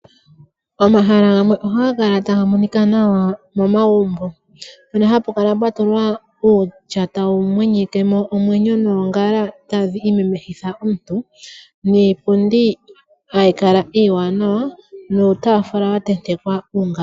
Omahala gamwe ohaga kala taga monika nawa momagumbo, mpono hapu kala pwa tulwa uutya tawu mwenyeke mo omwenyo, noongala tadhi imemehitha omuntu, niipundi hayi kala iiwanawa nuutafula wa tentekwa uungala.